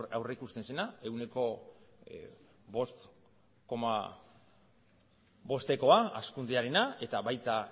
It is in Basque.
aurrikusten zena ehuneko bost koma bostekoa hazkundearena eta baita